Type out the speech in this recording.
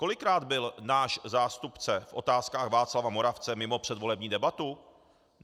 Kolikrát byl náš zástupce v Otázkách Václava Moravce mimo předvolební debatu?